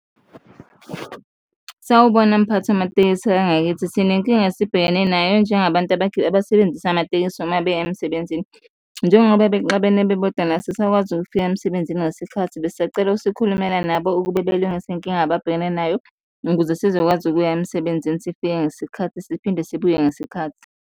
Sawubona mphathi wamatekisi angakithi, sinenkinga esibhekane nayo njengabantu abasebenzisa amatekisi uma beya emsebenzini. Njengoba bexabene bebodwana, asisakwazi ukufika emsebenzini ngesikhathi, besisacela usukhulumela nabo ukube belungise inkinga ababhekene nayo ukuze sizokwazi ukuya emsebenzini, sifike ngesikhathi siphinde sibuye ngesikhathi.